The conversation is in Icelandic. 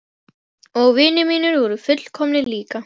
Og vinir mínir voru fullkomnir líka.